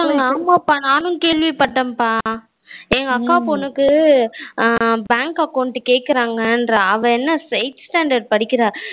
ஆமாப்பா நானும் கேள்விப்பட்டேன் பா எங்க அக்கா பொண்ணு கேக்குறாங்க அவ என்ன Sixth Standard படிக்கிறா